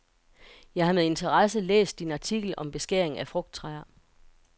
Jeg har med interesse læst din artikel om beskæring af frugttræer.